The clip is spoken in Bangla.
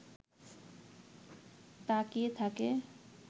তাকিয়ে থাকে